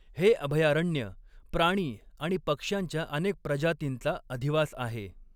हे अभयारण्य प्राणी आणि पक्ष्यांच्या अनेक प्रजातींचा अधिवास आहे.